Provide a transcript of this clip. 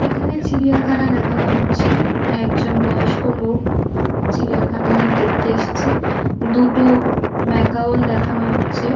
এখানে চিড়িয়াখানা দেখানো হচ্ছে একজন বয়স্ক লোক চিড়িয়াখানায় দেখতে এসেছে দুটো ম্যাকাউল দেখানো হচ্ছে।